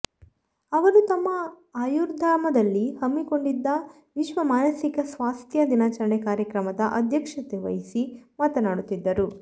ಅವರು ತಮ್ಮ ಆಯುರ್ಧಾಮದಲ್ಲಿ ಹಮ್ಮಿಕೊಂಡಿದ್ದ ವಿಶ್ವ ಮಾನಸಿಕ ಸ್ವಾಸ್ಥ್ಯ ದಿನಾಚರಣೆ ಕಾರ್ಯಕ್ರಮದ ಅಧ್ಯಕ್ಷತೆವಹಿಸಿ ಮಾತನಾಡುತ್ತಿದ್ದರು